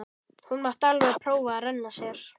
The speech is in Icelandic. Hún mátti alveg prófa að renna sér.